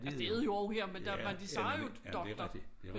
Altså det er det jo og her men der men de siger jo doktor